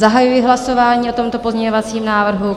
Zahajuji hlasování o tomto pozměňovacím návrhu.